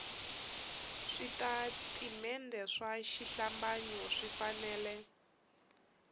switatimende swa xihlambanyo swi fanele